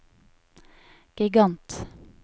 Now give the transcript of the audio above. gigant